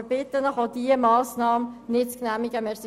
Wir bitten Sie, auch diese Massnahme nicht zu genehmigen.